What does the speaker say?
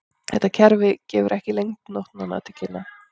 Þetta kerfi gefur ekki lengd nótnanna til kynna.